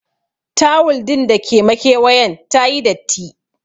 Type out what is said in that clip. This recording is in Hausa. Tawul din da ke makewayen tayi datti.